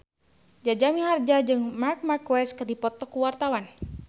Jaja Mihardja jeung Marc Marquez keur dipoto ku wartawan